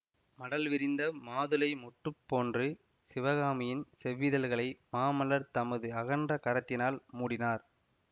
மடல் விரிந்த மாதுளை மொட்டுப் போன்று சிவகாமியின் செவ்விதழ்களை மாமல்லர் தமது அகன்ற கரத்தினால் மூடினார்